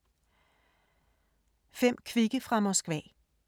5 kvikke fra Moskva